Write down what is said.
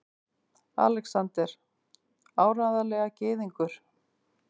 ALEXANDER: Áreiðanlega gyðingur!